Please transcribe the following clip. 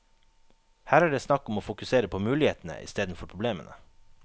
Her er det snakk om å fokusere på mulighetene istedenfor problemene.